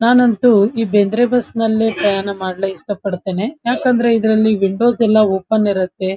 ನಾನಂತೂ ಈ ಬೇಂದ್ರೆ ಬಸ್ ನಲ್ಲಿ ಪ್ರಯಾಣ ಮಾಡ್ಲು ಎಸ್ಟ ಪಡ್ತೇನೆ ಯಾಕಂದ್ರೆ ಇದ್ರಲ್ಲಿ ವಿಂಡೋಸ್ ಎಲ್ಲ ಓಪನ್ ಇರುತ್ತೆ --